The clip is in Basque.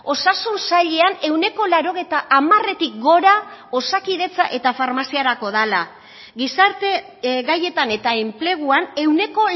osasun sailean ehuneko laurogeita hamaretik gora osakidetza eta farmaziarako dela gizarte gaietan eta enpleguan ehuneko